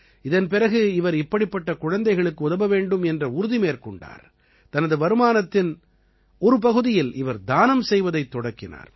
இதன் பிறகு இவர் இப்படிப்பட்ட குழந்தைகளுக்கு உதவ வேண்டும் என்ற உறுதி மேற்கொண்டார் தனது வருமானத்தின் ஒரு பகுதியில் இவர் தானம் செய்வதைத் தொடக்கினார்